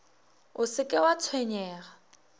o se ke wa tshwenyega